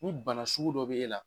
Ni bana sugu dɔ b'e la